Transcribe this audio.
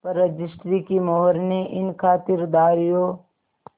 पर रजिस्ट्री की मोहर ने इन खातिरदारियों